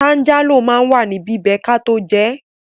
Tánjálò ma wà ní bíbí kató jẹẹ́.